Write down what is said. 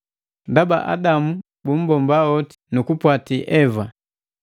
Ndaba Adamu bumbomba hoti nu kupwati Eva.